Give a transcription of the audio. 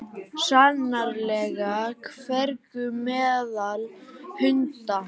Sannarlega dvergur meðal hunda.